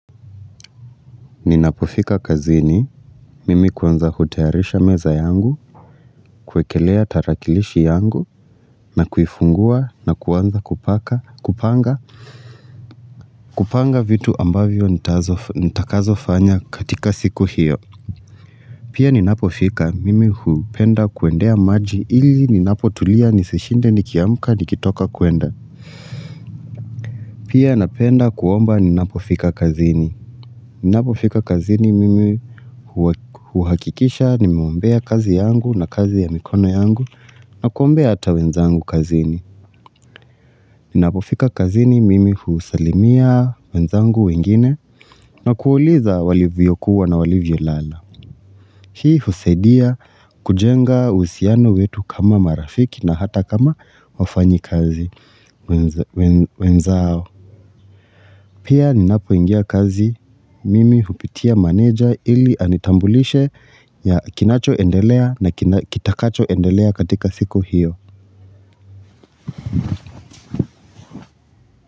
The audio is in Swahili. Ninapofika kazini, mimi kwanza hutayarisha meza yangu, kuwekelea tarakilishi yangu, na kuifungua, na kuanza kupanga vitu ambavyo nitakazo fanya katika siku hiyo Pia ninapofika, mimi hupenda kuendea maji ili ninapotulia nisishinde nikiamka nikitoka kuenda Pia napenda kuomba ninapofika kazini. Ninapofika kazini mimi huhakikisha, nimeombea kazi yangu na kazi ya mikono yangu na kuombea hata wenzangu kazini. Ninapofika kazini mimi husalimia wenzangu wengine na kuuliza walivyo kuwa na walivyo lala. Hii husaidia kujenga uhusiano wetu kama marafiki na hata kama wafanyi kazi wenzao. Pia ninapo ingia kazi mimi hupitia manager ili anitambulishe na kinacho endelea na kitakacho endelea katika siku hiyo.